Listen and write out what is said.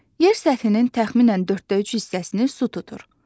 Yer səthinin təxminən dörddə üç hissəsini su tutur.